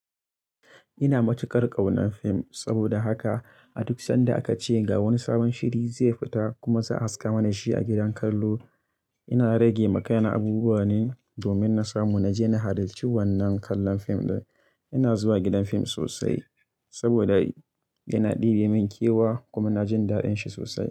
Ina matukar ƙaunar fim saboda haka a duk sanda aka ce ga wani sabon shiri zai fita kuma za a haska mana shi a gidan kallo, ina rage ma kaina abubuwa ne domin na samu na je na halarci wannan kallon fim ɗin. Ina zuwa gidan fim sosai saboda yana ɗibe min kewa kuma ina jin da'in shi sosai.